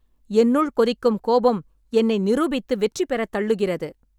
என்னுள் கொதிக்கும் கோபம் என்னை நிரூபித்து வெற்றிபெறத் தள்ளுகிறது.